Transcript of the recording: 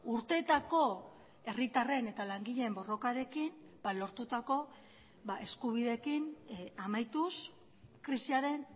urteetako herritarren eta langileen borrokarekin lortutako eskubideekin amaituz krisiaren